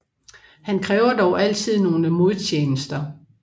Han kræver dog altid nogle modtjenester